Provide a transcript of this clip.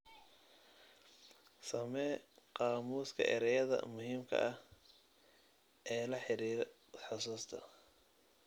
Samee qaamuuska ereyada muhiimka ah ee la xiriira xusuusta.